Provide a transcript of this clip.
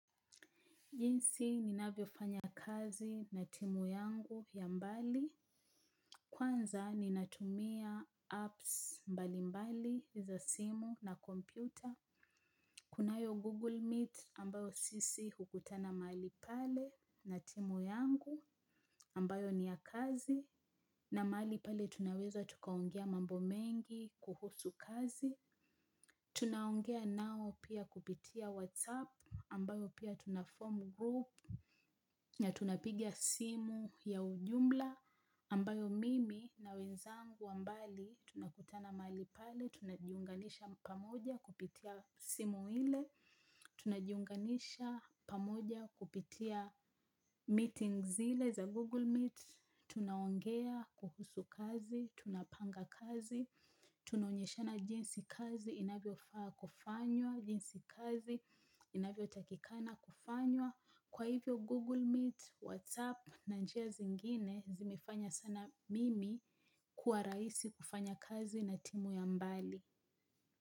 Jinsi ninavyofanya kazi na timu yangu ya mbali. Kwanza ninatumia apps mbali mbali za simu na kompyuta. Kunayo google meet ambayo sisi hukutana mahali pale na timu yangu ambayo ni ya kazi. Na mahali pale tunaweza tukaongea mambo mengi kuhusu kazi. Tunaongea nao pia kupitia whatsapp ambayo pia tuna form group na tunapiga simu ya ujumla ambayo mimi na wenzangu wa mbali tunakutana mahali pale, tunajiunganisha pamoja kupitia simu ile, tunajiunganisha pamoja kupitia meetings zile za Google Meet, tunaongea kuhusu kazi, tunapanga kazi, tunaonyeshana jinsi kazi inavyofaa kufanywa, jinsi kazi inavyotakikana kufanywa. Kwa hivyo Google Meet, WhatsApp na njia zingine zimefanya sana mimi kuwa rahisi kufanya kazi na timu ya mbali.